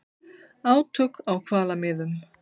Átök á hvalamiðum